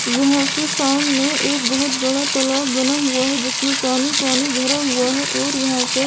यहाँ पे सामने एक बहुत बड़ा तालाब बना हुआ है जिसमे पानी-पानी भरा हुआ है और यहां पे --